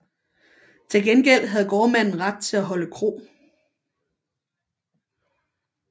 Til gengæld havde gårdmanden ret til at holde kro